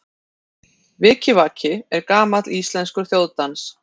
Vikivaki er gamall íslenskur þjóðdans.